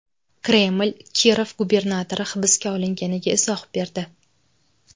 Kreml Kirov gubernatori hibsga olinganiga izoh berdi.